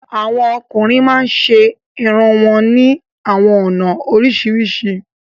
Awọn ọkùnrin màá ń ṣẹ ẹ̀rùn wọn ni awọn ọna oríṣiríṣi.